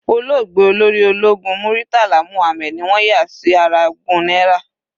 Olóògbé Olórí ológun Muritala Muhammad ni wọ́n yà sí ara ogún náírà.